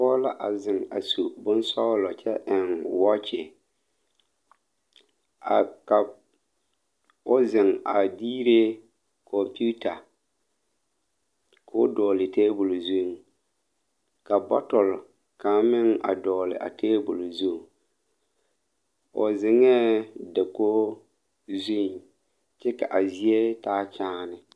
Dɔɔ la a zeŋ a su bonsɔɔlɔ ka kyɛ koɔrɔ waakye ka o azeŋ a diire kɔmpiita ko o dɔgele taabol zu ka bɔtole kaŋ meŋ dɔgele a taabol zu ba zeŋee dakogri zu kyɛ ka a zie taa kyaane